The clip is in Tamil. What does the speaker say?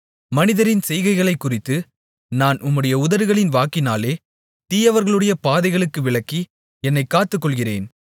மனிதரின் செய்கைகளைக்குறித்து நான் உம்முடைய உதடுகளின் வாக்கினாலே தீயவர்களுடைய பாதைகளுக்கு விலக்கி என்னைக் காத்துக்கொள்ளுகிறேன்